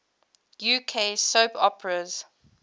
uk soap operas